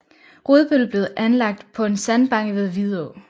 Rudbøl blev anlagt på en sandbanke ved Vidå